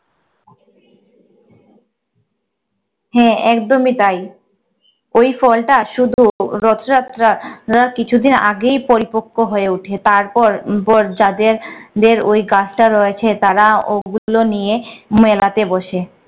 হ্যাঁ একদমই তাই। ওই ফলটা শুধু রথযাত্রা আহ কিছুদিন আগেই পরিপক্ক হয়ে ওঠে। তারপর পর যাদের দের ওই গাছটা রয়েছে তারা ওগুলো নিয়ে মেলাতে বসে।